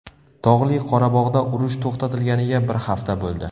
Tog‘li Qorabog‘da urush to‘xtatilganiga bir hafta bo‘ldi.